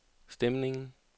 stemningen